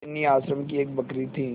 बिन्नी आश्रम की एक बकरी थी